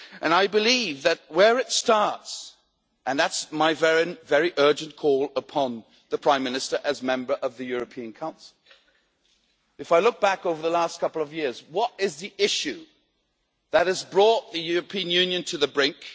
I believe that is where it starts, and that's my own very urgent call upon the Prime Minister, as a Member of the European Council. If I look back over the last couple of years, what is the issue that has brought the European Union to the brink?